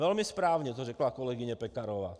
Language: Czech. Velmi správně to řekla kolegyně Pekarová.